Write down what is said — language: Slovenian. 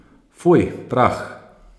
Fuj, prah.